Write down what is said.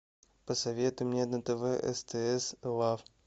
посоветуй мне на тв стс лав